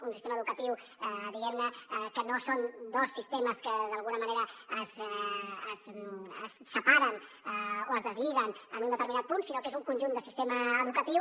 un sistema educatiu diguem ne que no són dos sistemes que d’alguna manera es separen o es deslliguen en un determinat punt sinó que és un conjunt de sistema educatiu